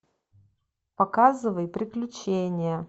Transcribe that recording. показывай приключения